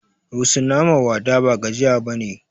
Rusuna ma wada ba gajiya bane